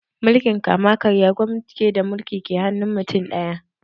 Mulkin kama-karya gwamnati ce da mulki ke hannun mutum ɗaya